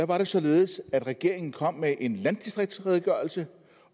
var det således at regeringen kom med en landdistriktsredegørelse